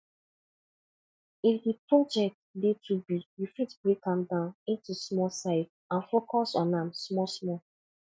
if di project dey too big you fit break am down into small size and focus on am small small